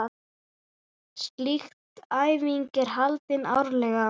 Slík æfing er haldin árlega.